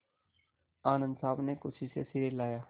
आनन्द साहब ने खुशी से सिर हिलाया